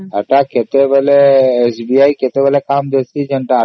SBI ସେତେବେଳେ କାମ ରେ ଆସେ